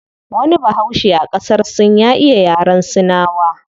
Wani bahaushe a qasar sin ya iya yaren sinawa